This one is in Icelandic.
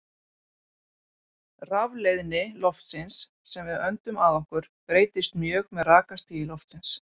Rafleiðni loftsins sem við öndum að okkur breytist mjög með rakastigi loftsins.